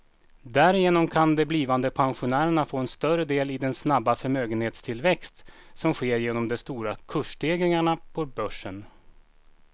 Därigenom kan de blivande pensionärerna få en större del i den snabba förmögenhetstillväxt som sker genom de stora kursstegringarna på börsen.